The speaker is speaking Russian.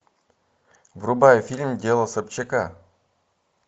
врубай фильм дело собчака